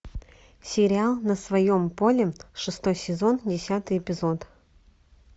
сериал на своем поле шестой сезон десятый эпизод